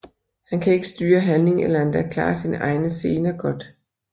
Han kan ikke styre handling eller endda klare sine egne scener godt